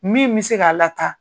Min mi se k'a lataa.